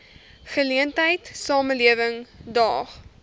geleentheid samelewing daag